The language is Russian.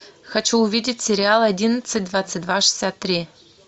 хочу увидеть сериал одиннадцать двадцать два шестьдесят три